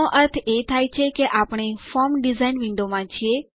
આનો અર્થ એ થાય કે આપણે ફોર્મ ડિઝાઇન વિન્ડોમાં છે